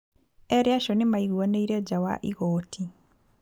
Erĩ acio nĩ maiguanĩre nja wa igooti.